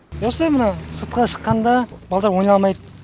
осы мынау сыртқа шыққанда балалар ойнай алмайды